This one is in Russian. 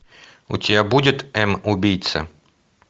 у тебя будет м убийца